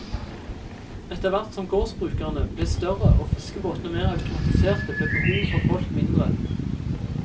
Etter hvert som gårdsbrukene ble større og fiskebåtene mer automatiserte ble behovet for folk mindre.